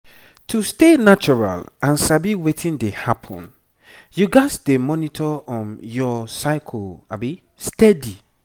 to stay natural and sabi wetin dey happen you gats dey monitor um your cycle steady